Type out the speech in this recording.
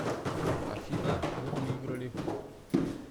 афина мы выиграли